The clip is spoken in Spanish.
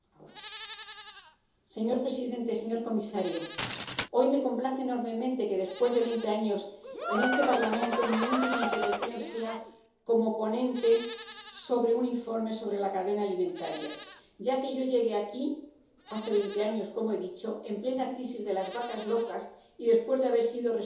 Señor presidente, señor comisario, hoy me complace enormemente que, después de veinte años en este Parlamento, mi última intervención sea como ponente de un informe sobre la cadena alimentaria, ya que yo llegué aquí —hace veinte años, como he dicho— en plena crisis de las vacas locas y después de haber sido responsable de alimentación